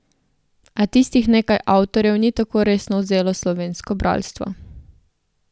A tistih nekaj avtorjev ni tako resno vzelo slovensko bralstvo.